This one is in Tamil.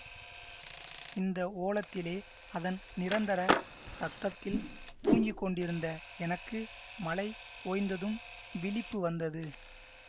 இந்த ஓலத்திலே அதன் நிரந்தர சப்தத்தில் தூங்கிக் கொண்டிருந்த எனக்கு மழை ஓய்ந்ததும் விழிப்பு வந்தது